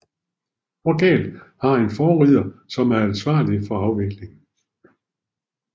Hver galge har en forrider som er ansvarlig for afviklingen